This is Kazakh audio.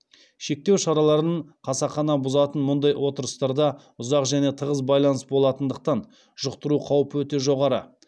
шектеу шараларын қасақана бұзатын мұндай отырыстарда ұзақ және тығыз байланыс болатындықтан жұқтыру қаупі өте жоғары